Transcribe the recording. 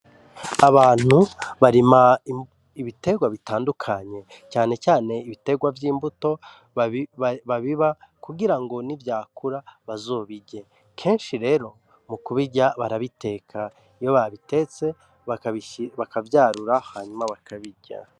Abantu barima ibitegwa bitandukanye, cane cane ibitegwa vy'imbuto babiba kugira ngo nivyakura bazobirye kenshi rero mu kubirya barabiteka iyo babitetse bakavyarura hama bakabirya.